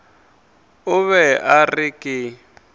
o be a re ke